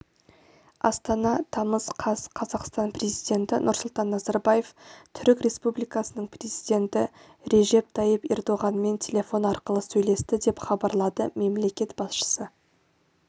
астана тамыз қаз қазақстан президенті нұрсұлтан назарбаев түрік республикасының президенті режеп тайип ердоғанмен телефон арқылы сөйлесті деп хабарлады мемлекет басшысы